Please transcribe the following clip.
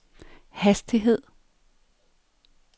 hastighed